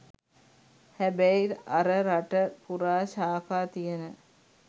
හැබැයි අර රට පුරා ශාඛා තියන